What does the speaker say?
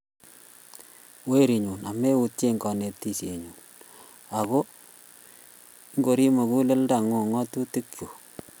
Weeriinnyu, ameutyee kaneetisyennyu, ago ingoriip `muguleldang'ung' ng'atuutikyuk;